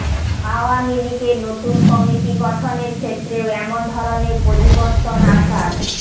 আওয়ামী লীগের নতুন কমিটি গঠনের ক্ষেত্রেও এমন ধরনের পরিবর্তন আসার